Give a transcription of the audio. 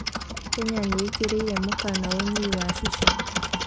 Kenya nĩ-ĩkĩrĩire mũkana ũnyui wa cica.